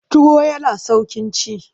Tuwo yana sauƙin ci.